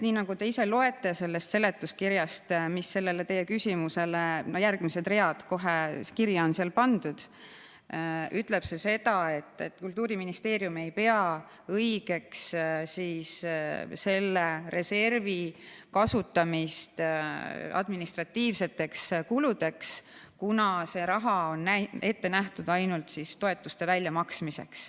Nii nagu te ise loete sellest seletuskirjast – kohe järgmised read, mis sinna kirja on pandud –, on seal öeldud, et Kultuuriministeerium ei pea õigeks selle reservi kasutamist administratiivseteks kuludeks, kuna see raha on ette nähtud ainult toetuste väljamaksmiseks.